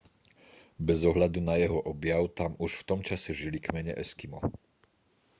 bez ohľadu na jeho objav tam už v tom čase žili kmene eskimo